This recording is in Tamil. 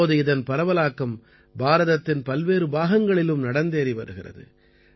இப்போது இதன் பரவலாக்கம் பாரதத்தின் பல்வேறு பாகங்களிலும் நடந்தேறி வருகிறது